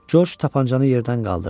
Corc tapançanı yerdən qaldırdı.